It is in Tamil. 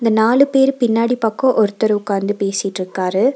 இந்த நாலு பேரு பின்னாடி பக்கோ ஒருத்தர் உக்காந்து பேசிட்டிருக்காரு.